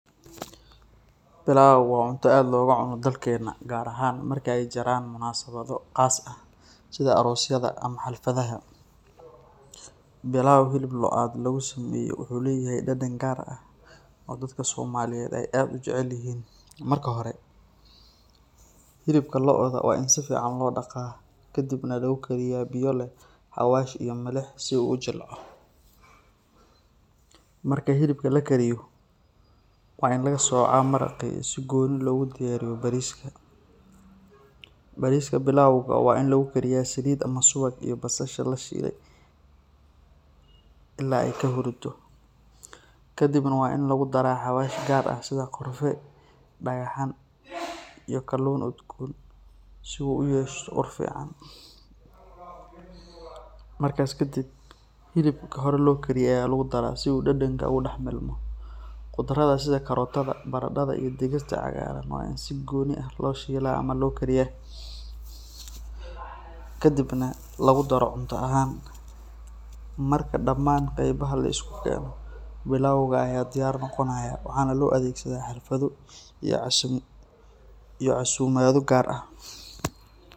Bilau waa cunta aad loga cuna dalkena gar ahan marki ee jiran qas ah sitha arosyada ama xalfadhaha, bilau hilib load lagu sameye wuxuu leyahay dadan gar ah dadka somaliyeed aad u jecelyihin, marka hore hilibka lodha waa in sifican lodaqa kadiib nah lo kariyo biyo xawash iyo lo, marka hilibka lakariyo waa in laga soca maraqi si goni logu dubo, bariska bilauga waa in lagu kariya saliid ama suwag iyo basasha lashile, kadib nah waa in lagu daraa xawashi gar ah sitha korare dagaxan iyo kalun udgon si u uyesho ur fican, markas kadiib hilibka hor lokariye aya lagu dara si u dadanka ogadadamo, qudradha sitha karotadha baradatha iyo digirta cagaran waa in si goni ah loshila ama lo kariya, kadiib nah lagu daro cunta ahan marka daman qebaha laskudaro bilauga aya diyar noqonaya waxana lo adhegsadha casho iyo casumaadha gar ah.